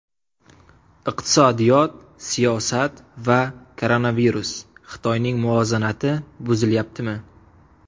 Iqtisodiyot, siyosat va koronavirus: Xitoyning muvozanati buzilyaptimi?.